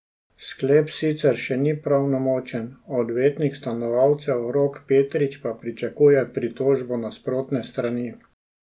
Sklep sicer še ni pravnomočen, odvetnik stanovalcev Rok Petrič pa pričakuje pritožbo nasprotne strani.